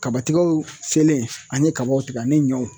Kabatigɛw selen an ye kabaw tigɛ ani ɲɔw